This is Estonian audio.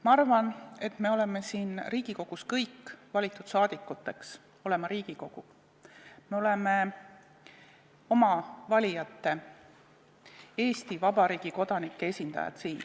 Ma arvan, et me oleme siia Riigikogusse kõik valitud rahvasaadikuteks, oleme valitud olema Riigikogu, me oleme siin oma valijate, Eesti Vabariigi kodanike esindajad.